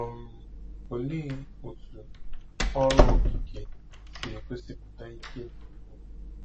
um Olee otú ọrụ okike si egosipụta ike dị ukwuu?